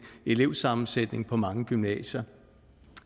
elevsammensætning på mange gymnasier